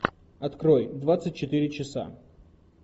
открой двадцать четыре часа